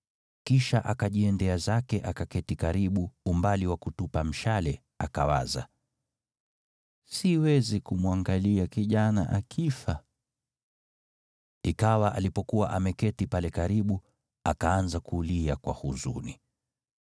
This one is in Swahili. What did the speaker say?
Kisha akajiendea zake akaketi karibu, umbali wa kutupa mshale, akawaza, “Siwezi kumwangalia kijana akifa.” Ikawa alipokuwa ameketi pale karibu, akaanza kulia kwa huzuni.